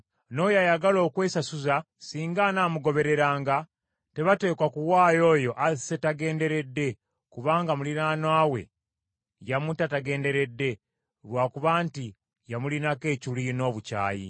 N’oyo ayagala okwesasuza singa anaamugobereranga, tebateekwa kuwaayo oyo asse tagenderedde kubanga muliraanwa we yamutta tagenderedde, lwa kuba nti yamulinako ekiruyi n’obukyayi.